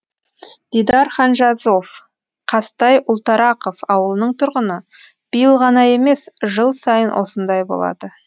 дидар ханжазов қазтай ұлтарақов ауылының тұрғыны биыл ғана емес жыл сайын осындай болады